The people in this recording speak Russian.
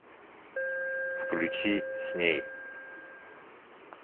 включи с ней